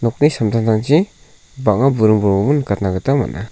nokni samtangtangchi bang·a buring bolgrimo nikatna gita man·a.